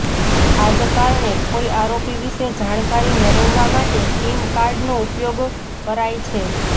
આ જ કારણે કોઈ આરોપી વિશે જાણકારી મેળવવા માટે સિમ કાર્ડનો ઉપયોગ કરાય છે